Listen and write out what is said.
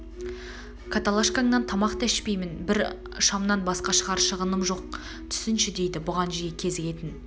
каталашкаңнан тамақ та ішпеймін бір шамнан басқа шығарар шығыным да жоқ түсінсеңші дейді бұған жиі кезігетін